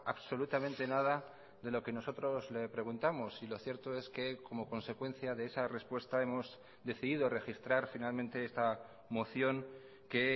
absolutamente nada de lo que nosotros le preguntamos y lo cierto es que como consecuencia de esa respuesta hemos decidido registrar finalmente esta moción que